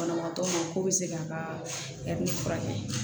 Banabaatɔ ma k'o bɛ se k'a ka furakɛ